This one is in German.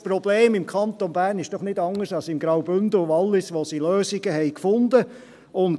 Das Problem ist im Kanton Bern doch nicht anders als im Graubünden und im Wallis, wo sie Lösungen gefunden haben.